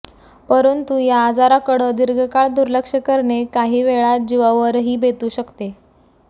परंतु या आजारांकडं दीर्घकाळ दुर्लक्ष करणे काहीवेळा जीवावरही बेतू शकते